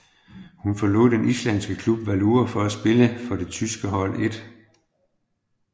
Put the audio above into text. Hun forlod den islandske klub Valur for at spille for det tyske hold 1